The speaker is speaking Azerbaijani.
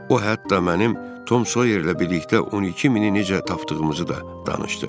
O hətta mənim Tom Soyerlə birlikdə 12 mini necə tapdığımızı da danışdı.